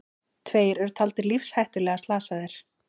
Tveir eru taldir lífshættulega slasaðir